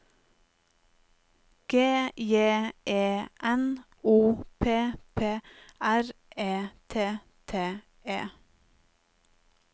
G J E N O P P R E T T E